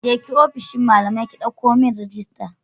Je ki ofishin malamai ki ɗauko min rajista.